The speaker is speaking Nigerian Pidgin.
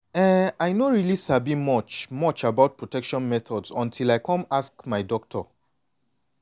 eh i no really sabi much much about protection methods until i come ask my doctor.